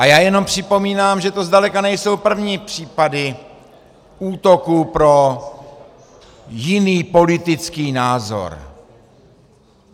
A já jenom připomínám, že to zdaleka nejsou první případy útoku pro jiný politický názor.